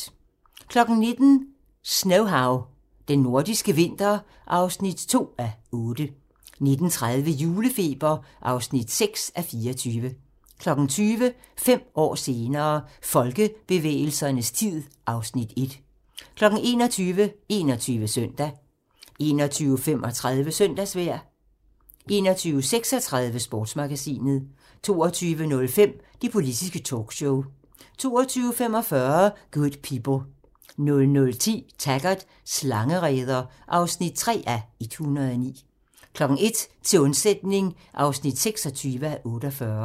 19:00: Snowhow - Den nordiske vinter (2:8) 19:30: Julefeber (6:24) 20:00: Fem år senere - Folkebevægelsernes tid (Afs. 1) 21:00: 21 Søndag 21:35: Søndagsvejr 21:36: Sportsmagasinet 22:05: Det politiske talkshow 22:45: Good People 00:10: Taggart: Slangereder (3:109) 01:00: Til undsætning (26:48)